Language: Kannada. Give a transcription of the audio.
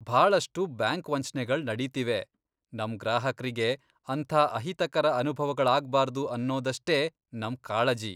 ಭಾಳಷ್ಟು ಬ್ಯಾಂಕ್ ವಂಚ್ನೆಗಳ್ ನಡೀತಿವೆ, ನಮ್ ಗ್ರಾಹಕ್ರಿಗೆ ಅಂಥ ಅಹಿತಕರ ಅನುಭವಗಳಾಗ್ಬಾರ್ದು ಅನ್ನೋದಷ್ಟೇ ನಮ್ ಕಾಳಜಿ.